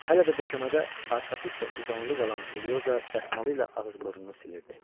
Hələ də döşəmədə arxası üstə uzanılı qalan Elioza dəsmalı ilə ağız-burnunu silirdi.